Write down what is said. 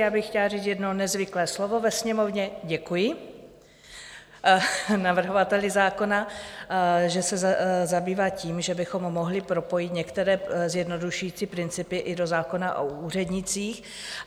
Já bych chtěla říct jedno nezvyklé slovo ve sněmovně - děkuji navrhovateli zákona, že se zabývá tím, že bychom mohli propojit některé zjednodušující principy i do zákona o úřednících.